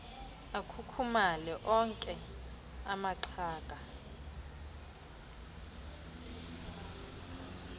akhukhumale okhe amaxhaga